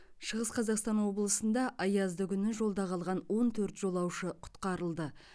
шығыс қазақстан облысында аязды күні жолда қалған он төрт жолаушы құтқарылды